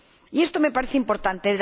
Y esto me parece importante.